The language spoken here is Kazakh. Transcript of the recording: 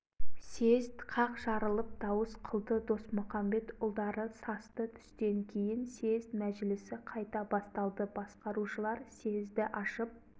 съезд қақ жарылып дауыс қылды досмұқамбетұлдары састы түстен кейін съезд мәжілісі қайта басталды басқарушылар съезді ашып